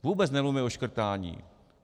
Vůbec nemluvíme o škrtání.